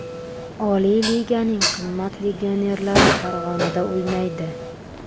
Oliy liganing qimmat legionerlari Farg‘onada o‘ynaydi.